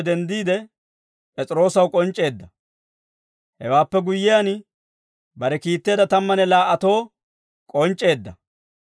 denddiide, P'es'iroosaw k'onc'c'eedda. Hewaappe guyyiyaan, bare kiitteedda tammanne laa"atoo k'onc'c'eedda.